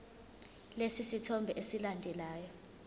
lesi sithombe esilandelayo